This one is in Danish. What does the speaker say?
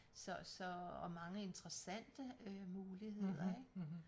Så så og mange interessante øh muligheder ik